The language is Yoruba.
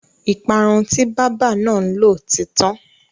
Ìparun tí bábà náà lò ti tán.